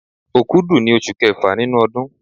Òkúdù ni oṣù kẹfà nínú ọdún.